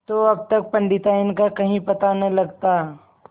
तो अब तक पंडिताइन का कहीं पता न लगता